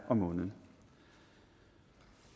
om måneden